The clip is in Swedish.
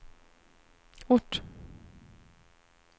ort